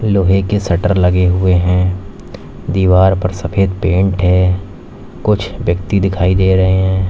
लोहे के शटर लगे हुए हैं दीवार पर सफेद पेंट है कुछ व्यक्ति दिखाई दे रहे हैं।